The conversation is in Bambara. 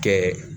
Kɛ